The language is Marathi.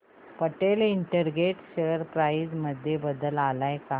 पटेल इंटरग्रेट शेअर प्राइस मध्ये बदल आलाय का